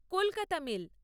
Kolkata mail